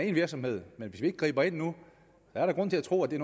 én virksomhed men hvis vi ikke griber ind nu er der grund til at tro at det